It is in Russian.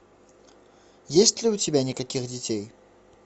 есть ли у тебя никаких детей